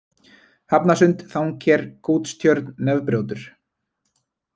Hafnarsund, Þangker, Kútstjörn, Nefbrjótur